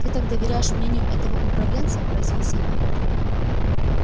ты так доверяешь мнению этого управленца поразился я